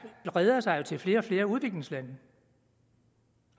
breder sig jo til flere og flere udviklingslande